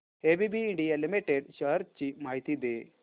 ABB India limited shares ची माहिती दे